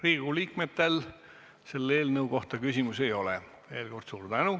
Riigikogu liikmetel selle eelnõu kohta küsimusi ei ole.